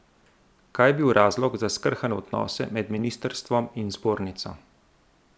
Kaj je bil razlog za skrhane odnose med ministrstvom in zbornico?